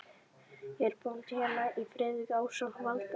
Ég er bóndi hérna í firðinum ásamt Valda